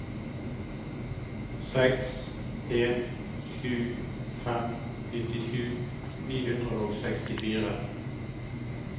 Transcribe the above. seks en sju fem nittisju ni hundre og sekstifire